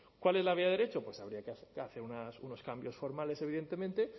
cuál es la vía de derecho pues habría que hacer unos cambios formales evidentemente